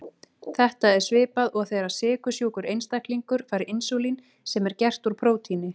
Þetta er svipað og þegar sykursjúkur einstaklingur fær insúlín sem er gert úr prótíni.